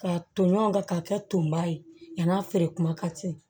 Ka toɲɔn kɛ k'a kɛ tonba ye yann'a feere kuma ka ci